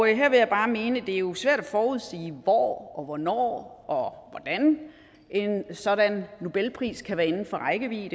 jeg bare mene at det jo er svært at forudsige hvor og hvornår og hvordan en sådan nobelpris kan være inden for rækkevidde